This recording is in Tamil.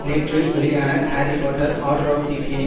நேற்று வெளியான Harry Potter and the order